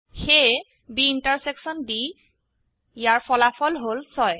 সেয়ে B intersection D ইয়াৰ ফলাফল হল ৬